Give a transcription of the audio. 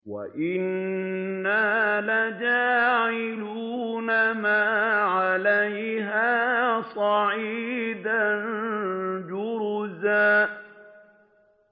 وَإِنَّا لَجَاعِلُونَ مَا عَلَيْهَا صَعِيدًا جُرُزًا